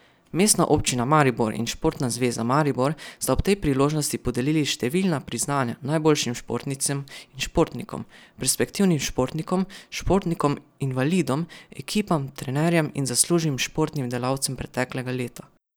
Mestna občina Maribor in Športna zveza Maribor sta ob tej priložnosti podelili številna priznanja najboljšim športnicam in športnikom, perspektivnim športnikom, športnikom invalidom, ekipam, trenerjem in zaslužnim športnim delavcem preteklega leta.